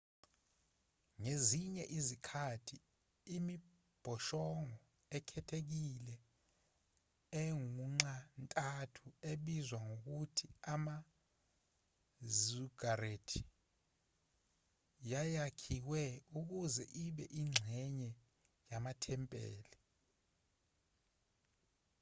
ngezinye izikhathi imibhoshongo ekhethekile engunxa-ntathu ebizwa ngokuthi ama-ziggurat yayakhiwe ukuze ibe ingxenye yamathempeli